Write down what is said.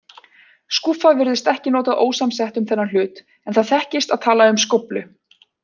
Skúffa virðist ekki notað ósamsett um þennan hlut, en það þekkist að tala um skóflu.